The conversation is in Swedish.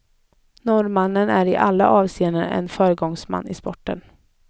Norrmannen är i alla avseenden en föregångsman i sporten.